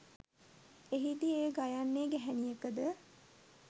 එහිදී එය ගයන්නේ ගැහැණියකද